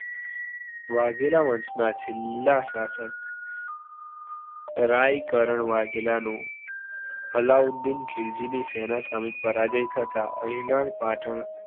વાઘેલા વંશના છેલ્લા શાસક રાઇકરણ વાઘેલાનું અલાઉદીન ખીલજીની સેનાએ સામે પરાજિત થતા અણહીલવાડ પાટણ